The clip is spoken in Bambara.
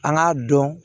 An k'a dɔn